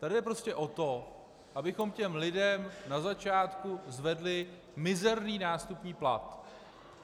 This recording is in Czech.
Tady jde prostě o to, abychom těm lidem na začátku zvedli mizerný nástupní plat.